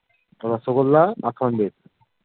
রসগোল্লা আর সন্দেশ